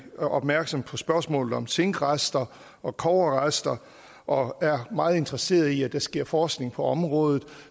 opmærksomme på spørgsmålet om zinkrester og kobberrester og er meget interesseret i at der sker forskning på området